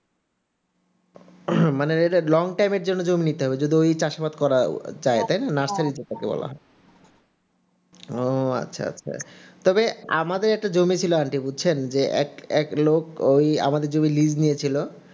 মানে এটা long time এর জন্য নিতে হবে চাষবাস করার জন্য তাই না? ও আচ্ছা আচ্ছা তবে আমাদের একটা জমি ছিল aunty বুঝছেন আরেকটা লোক আমাদের জমি লীজ নিয়েছিল